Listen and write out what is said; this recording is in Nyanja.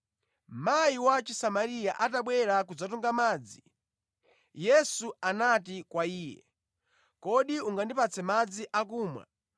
Mayi wa Chisamariya atabwera kudzatunga madzi, Yesu anati kwa iye, “Kodi ungandipatse madzi akumwa.”